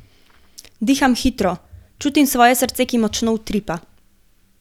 Diham hitro, čutim svoje srce, ki močno utripa.